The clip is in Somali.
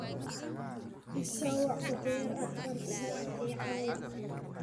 ii soo wac uber afar saac ee caawa